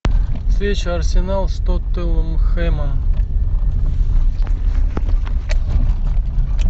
встреча арсенал с тоттенхэмом